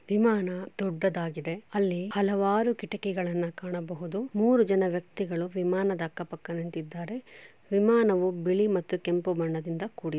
ವಿಮಾನ ದೂಡ್ಡದಾಗಿದೆ ಅಲ್ಲಿ ಹಲವಾರು ಕಿಟಾಕಿಗಳನು ಕಾಣಬಹುದು. ಮೂರು ಜನ ವ್ಯಕ್ತಿಗಳೂ ಅಕ್ಕ ಪಕ್ಕದಲಿ ನಿಂತಿದ್ದಾರೆ. ವಿಮಾನವೂ ಬಿಳಿ ಮತ್ತು ಕೆಂಪು ಬಣ್ಣದಿಂದ ಕೂಡಿದೆ.